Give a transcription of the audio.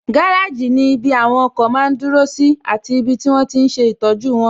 Gáràjì ní ibi àwọn ọkọ̀ máa n dúró sí àti ibi tí wọ́n tíi n ṣe ìtọ́jú wọn